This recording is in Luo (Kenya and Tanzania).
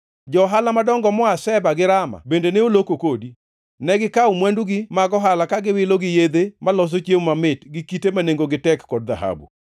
“ ‘Jo-ohala madongo moa Sheba gi Rama bende ne oloko kodi. Negikawo mwandugi mag ohala ka giwilo, gi yedhe maloso chiemo mamit gi kite ma nengogi tek kod dhahabu.